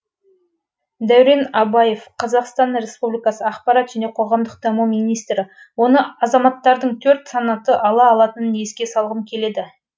дәурен абаев қр ақпарат және қоғамдық даму министрі оны азаматтардың төрт санаты ала алатынын еске салғым келеді